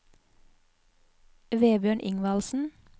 Vebjørn Ingvaldsen